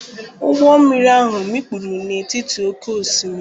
Ụgbọ mmiri ahụ mikpuru n’etiti oké osimiri.